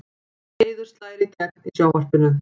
Eiður slær í gegn í sjónvarpinu